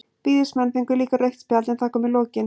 Víðismenn fengu líka rautt spjald, en það kom í lokin.